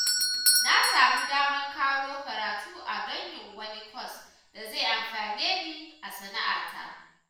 Na samu damar ƙaro karatu a don yin wani kwas da zai amfane ni a sana'ata